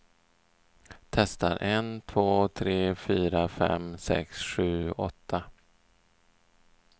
Testar en två tre fyra fem sex sju åtta.